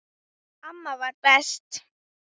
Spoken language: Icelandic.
Amma var best.